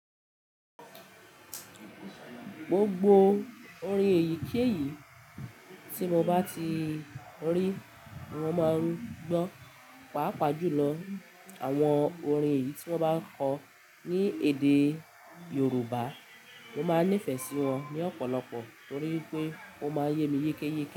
Gbogbo orin èyí kí èyí tí mo bá ti rí, mo máa ń gbọ́, pàápàá jùlọ àwọn orin èyí ti wọn ba kọ ni edé yorùbá. Mọ má ni ife sí wọn ni ọ̀pọ̀lọpọ̀ torí pé ọ má yé mi yekeyeke.